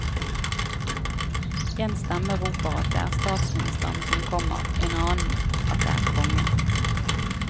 En stemme roper at det er statsministeren som kommer, en annen at det er kongen.